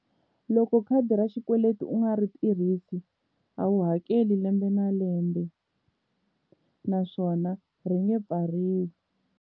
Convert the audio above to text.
Loko khadi ra xikweleti u nga ri tirhisi a wu hakeli lembe na lembe naswona ri nge pfariwi.